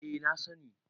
eh na sani